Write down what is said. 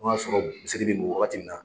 Ko n sɔrɔ misiri bɛ wagati min na.